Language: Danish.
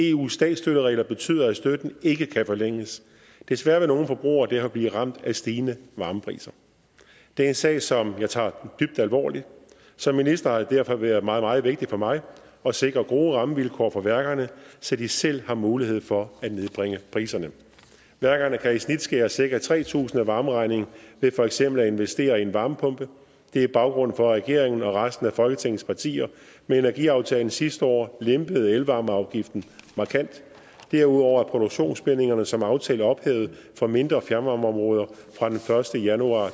eus statsstøtteregler betyder at støtten ikke kan forlænges desværre vil nogle forbrugere derfor blive ramt af stigende varmepriser det er en sag som jeg tager dybt alvorligt som minister har det derfor været meget meget vigtigt for mig at sikre gode rammevilkår for værkerne så de selv har mulighed for at nedbringe priserne værkerne kan i snit skære cirka tre tusind kroner af varmeregningen ved for eksempel at investere i en varmepumpe det er baggrunden for at regeringen og resten af folketingets partier med energiaftalen sidste år lempede elvarmeafgiften markant derudover er produktionsbindingerne som aftalt ophævet for mindre fjernvarmeområder fra den første januar